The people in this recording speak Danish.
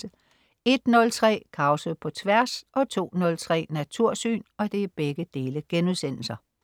01.03 Krause på Tværs* 02.03 Natursyn*